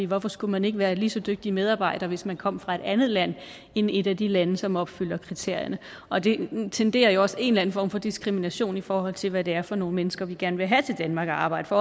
hvorfor skulle man ikke være en lige så dygtig medarbejder hvis man kom fra et andet land end et af de lande som opfylder kriterierne og det tenderer jo også en eller anden form for diskrimination i forhold til hvad det er for nogle mennesker vi gerne vil have til danmark at arbejde